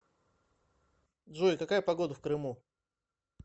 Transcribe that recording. джой какая погода в крыму